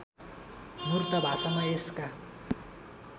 मूर्त भाषामा यसका